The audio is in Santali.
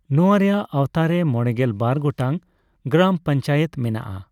ᱱᱚᱣᱟ ᱨᱮᱭᱟᱜ ᱟᱣᱛᱟᱨᱮ ᱢᱚᱲᱮᱜᱮᱞ ᱵᱟᱨ ᱜᱚᱴᱟᱝ ᱜᱨᱟᱢ ᱯᱚᱱᱪᱟᱭᱮᱛ ᱢᱮᱱᱟᱜᱼᱟ ᱾